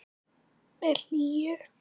Með hlýhug.